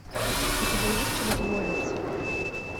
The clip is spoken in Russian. у тебя есть чудотворец